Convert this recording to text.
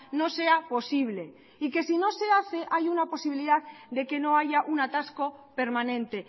no sea posible y que si no se hace hay una posibilidad de que no haya un atasco permanente